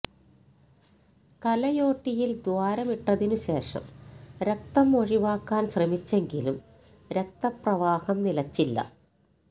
തലയോട്ടിയിൽ ദ്വാരമിട്ടതിനു ശേഷം രക്തം ഒഴിവാക്കാൻ ശ്രമിച്ചെങ്കിലും രക്തപ്രവാഹം നിലച്ചില്ല